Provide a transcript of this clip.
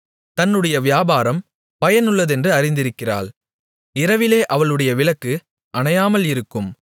தன்னுடைய வியாபாரம் பயனுள்ளதென்று அறிந்திருக்கிறாள் இரவிலே அவளுடைய விளக்கு அணையாமல் இருக்கும்